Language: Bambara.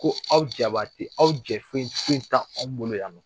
Ko aw jabate aw jɛfen fen tɛ anw bolo yan